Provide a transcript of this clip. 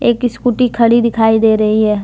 एक स्कूटी खड़ी दिखाई दे रही है।